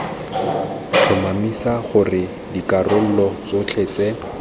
tlhomamisa gore dikarolo tsotlhe tse